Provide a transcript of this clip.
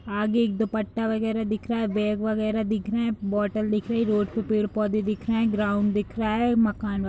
आगे एक दुपट्टा वगैरा दिख रहा है बैग वगैरा दिख रहे हैं बोतल दिख रही है रोड पर पेड़ पौधे दिख रहे हैं ग्राउंड दिख रहा है मकान --